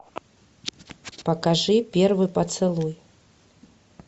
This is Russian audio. покажи первый поцелуй